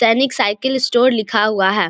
सैनिक cycle store लिखा हुआ है।